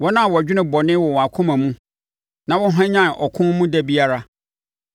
wɔn a wɔdwene bɔne wɔ wɔn akoma mu na wɔhwanyane ɔko mu da biara.